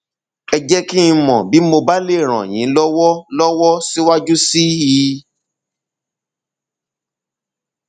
ẹ jẹ kí n mọ bí mo bá lè ràn yín lọwọ lọwọ síwájú sí i